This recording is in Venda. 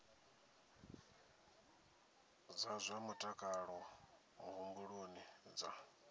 dza zwa mutakalo muhumbuloni dza